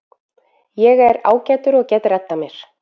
Ég er ágætur og get reddað mér.